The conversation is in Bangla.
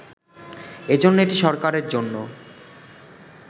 এজন্য এটি সরকারের জন্য